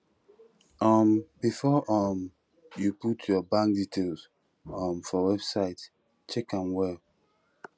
um before um you put your bank details um for website check am well